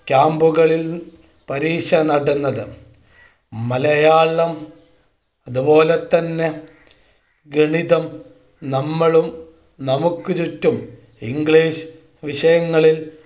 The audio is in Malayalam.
Camp കളിൽ പരീക്ഷ നടന്നത് മലയാളം അതു പോലെ തന്നെ ഗണിതം നമ്മളും നമുക്ക് ചുറ്റും ഇംഗ്ലീഷ് വിഷയങ്ങളിൽ Camp കളിൽ പരീക്ഷ നടന്നത്